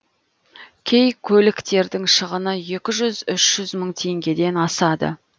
кей көліктердің шығыны екі жүз үш жүз мың теңгеден асады